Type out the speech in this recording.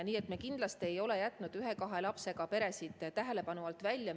Nii et me kindlasti ei ole jätnud ühe-kahe lapsega peresid tähelepanu alt välja.